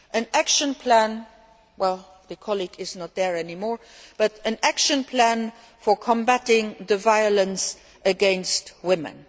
An action plan, well, the colleague is not there any more, but an action plan for combating the violence against women.